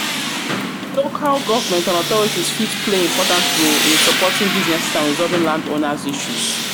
Local government and authorities fit play important role in supporting businesses and resolving landowners issues.